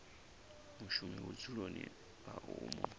mushumi vhudzuloni ha u mu